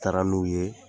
Taara n'u ye